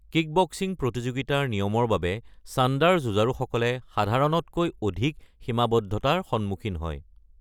Kickboxing প্ৰতিযোগিতাৰ নিয়মৰ বাবে চাণ্ডাৰ যুঁজাৰুসকলে সাধাৰণতকৈ অধিক সীমাবদ্ধতাৰ সন্মুখীন হয়।